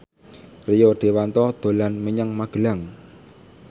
Rio Dewanto dolan menyang Magelang